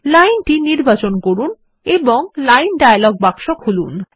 লাইনটি নির্বাচন করুন এবং লাইন ডায়ালগ বাক্স খুলুন